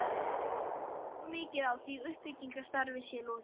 Vantar þó mikið á, að því uppbyggingarstarfi sé lokið.